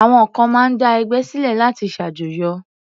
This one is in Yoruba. Àwọn kan máa ń dá ẹgbẹ́ sílẹ̀ láti ṣàjọyọ̀.